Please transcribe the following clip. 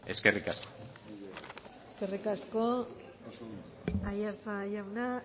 eskerrik asko eskerrik asko aiartza jauna